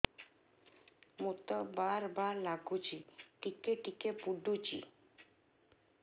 ମୁତ ବାର୍ ବାର୍ ଲାଗୁଚି ଟିକେ ଟିକେ ପୁଡୁଚି